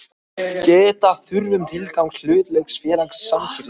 Geta þarf um tilgang hlutafélags í samþykktunum.